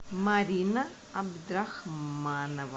марина абдрахманова